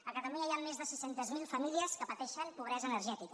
a catalunya hi han més de sis cents miler famílies que pateixen pobresa energètica